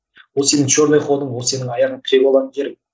ол сенің черный ходың ол сенің аяғыңды тіреп алатын жерің